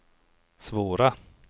svåra